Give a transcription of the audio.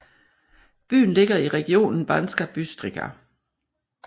Byen ligger i regionen Banská Bystrica